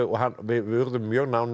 við urðum mjög nánir